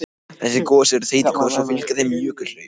Þessi gos eru þeytigos og fylgja þeim jökulhlaup.